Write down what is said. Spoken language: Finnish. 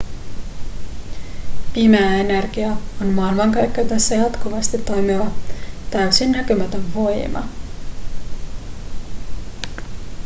pimeä energia on maailmankaikkeudessa jatkuvasti toimiva täysin näkymätön voima